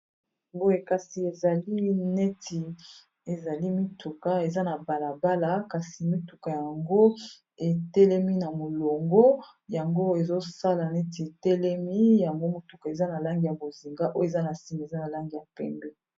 Boye kasi ezali neti ezali mituka eza na balabala kasi mituka yango etelemi na molongo yango ezosala neti etelemi yango motuka eza na langi ya bozinga oyo eza na sima eza na langi ya pembe.